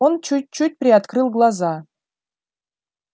он чуть-чуть приоткрыл глаза